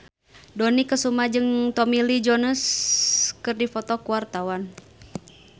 Dony Kesuma jeung Tommy Lee Jones keur dipoto ku wartawan